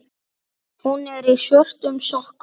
Hún er í svörtum sokkum.